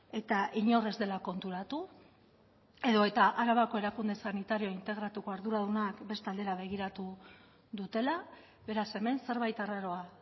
eta inor ez dela konturatu edo eta arabako erakunde sanitario integratuko arduradunak beste aldera begiratu dutela beraz hemen zerbait arraroa